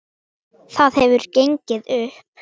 Það hefði gengið upp.